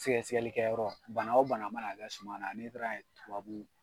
Sɛgɛsɛgɛlikɛyɔrɔ bana wo bana mana kɛ suman na ni taara ye tubabu